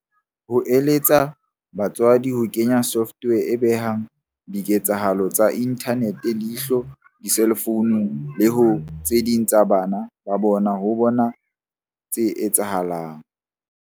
O eletsa batswadi ho kenya software e behang diketsahalo tsa inthanete leihlo diselfounung le ho tse ding tsa bana ba bona ho bona tse etsahalang.